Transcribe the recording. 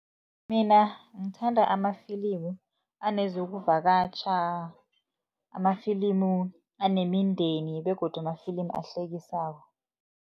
Mina ngithanda amafilimu anezokuvakatjha, amafilimu anemindeni begodu amafilimu ahlekisako.